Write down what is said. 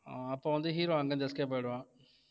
ஆஹ் அப்ப வந்து hero அங்க இருந்து escape ஆயிடுவான்